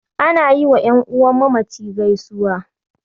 Ana yi wa ƴan'uwan mamaci gaisuwa